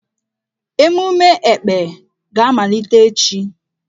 Emume Ekpè ga-amalite echi.